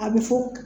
A bɛ fɔ